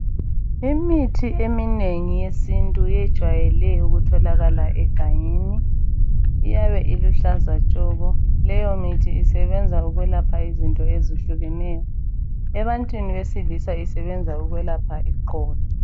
Imithi eminengi eyesintu ijwayele ukutholakala egangeni iyabe iluhlaza tshoko. Leyo mithi isebenza ukwelapha izinto ezehlukeneyo. Ebantwini besilisa isebenza ukwelapha iqolo.